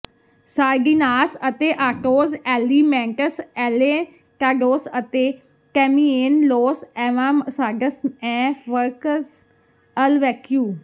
ਸਾਰਡੀਨਾਸ ਅਤੇ ਆਟੋਸ ਐਲੀਮੈਂਟਸ ਐਂਲੈਟਾਡੌਸ ਅਤੇ ਟੈਮਿਏਨ ਲੋਸ ਐਂਵਾਸਾਡਸ ਐਂ ਫ਼ਰਕਸ ਅਲ ਵੈਕਿਓ